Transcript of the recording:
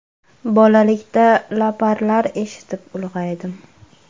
Bolalikda laparlar eshitib, ulg‘aydim.